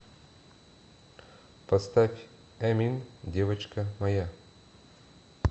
поставь эмин девочка моя